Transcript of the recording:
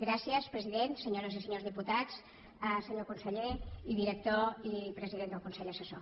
gràcies president senyores i senyors diputats senyor conseller i director i president del consell assessor